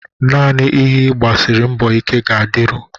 Naanị ihe ị gbasiri mbọ ike ga-adịru